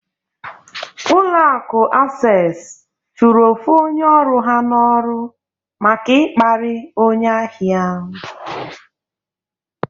Ụlọ akụ Asess chụrụ ofu onye ọrụ ha n'ọrụ maka ịkparị onye ahịa.